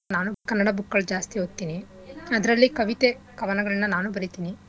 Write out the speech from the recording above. ನಾನು ಕನ್ನಡ book ಗಳ್ ಜಾಸ್ತಿ ಓದ್ತಿನಿ ಅದ್ರಲ್ಲಿ ಕವಿತೆ ಕವನಗಳ್ನ ನಾನೂ ಬರೀತಿನಿ